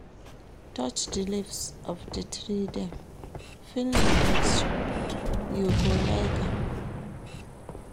Touch di leaves of di tree dem, feel di texture, you go like am.